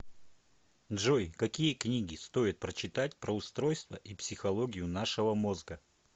джой какие книги стоит прочитать про устройство и психологию нашего мозга